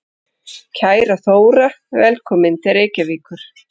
Kæra Þóra. Velkomin til Reykjavíkur.